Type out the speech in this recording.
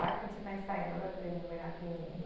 Lá que a gente está ensaiando a tribo Moirá Pinina.